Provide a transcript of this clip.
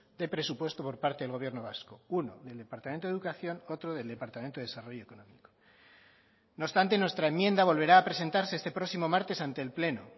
de presupuesto por parte del gobierno vasco uno del departamento de educación otro del departamento de desarrollo económico no obstante nuestra enmienda volverá a presentarse este próximo martes ante el pleno